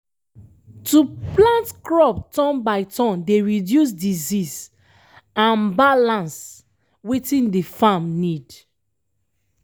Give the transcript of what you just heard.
to plant crop turn by turn dey reduce disease and balance um wetin de um farm need.